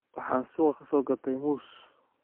Waxaan suuqa ka soo gatay muus.